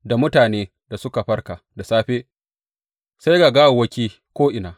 Da mutane suka farka da safe, sai ga gawawwaki ko’ina.